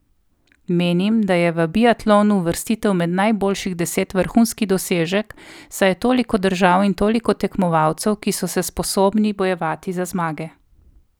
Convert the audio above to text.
Menim, da je v biatlonu uvrstitev med najboljših deset vrhunski dosežek, saj je toliko držav in toliko tekmovalcev, ki so se sposobni bojevati za zmage.